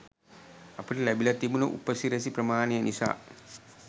අපිට ලැබිලා තිබුන උපසිරැසි ප්‍රමාණය නිසා